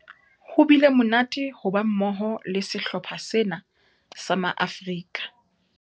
Ho bile monate ho ba mmoho le sehlopha sena sa Maafrika